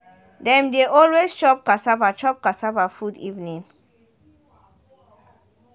dem de always chop cassava chop cassava food evening